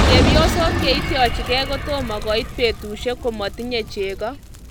Chepyosok cheityochigei kotomo. koit petushek komotinyei chego